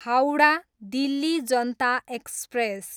Howrah, Delhi Janata express